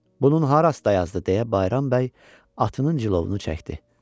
"Bunun harası dayazdır?" deyə Bayram bəy atının cilovunu çəkdi.